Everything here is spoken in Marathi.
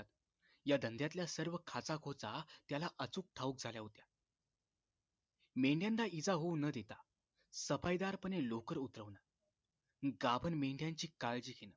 या धंद्याlतल्या सर्व खाचाखोचा त्याला अचूक ठावूक झाल्या होत्या मेंढ्यांना इजा होवू न देता सफाईदारपणे लोकर उतरवणं गाभण मेंढ्यांची काळजी घेण